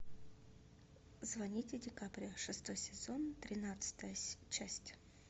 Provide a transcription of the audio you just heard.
звоните дикаприо шестой сезон тринадцатая часть